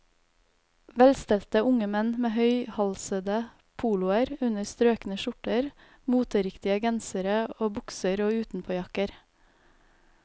Velstelte unge menn med høyhalsede poloer under strøkne skjorter, moteriktige gensere og bukser og utenpåjakker.